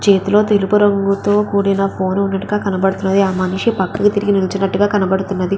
చేతిలో తెలుపు రంగుతో కూడిన ఫోన్ ఉన్నట్టుగా కనపడతుంది ఆ మనిషి పక్కకి తిరిగి నిల్చునట్టుగా కనపడుతుంది.